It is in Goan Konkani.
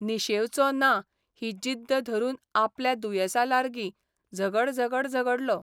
निशेंवचों ना ही जिद्द धरून आपल्या दुयेसालार्गी झगड झगड झगडलो.